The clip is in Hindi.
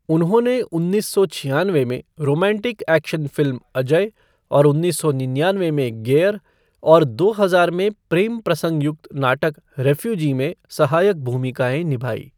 उन्होंने उन्नीस सौ छियानवे में रोमांटिक एक्शन फ़िल्म अजय और उन्नीस सौ निन्यानवे में गेयर और दो हज़ार में प्रेमप्रसंग युक्त नाटक रिफ़्यूजी में सहायक भूमिकाएं निभाई।